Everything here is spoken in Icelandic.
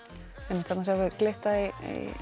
einmitt þarna sáum við glitta í